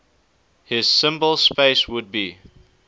his symbol space would be